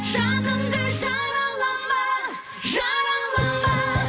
жанымды жаралама жаралама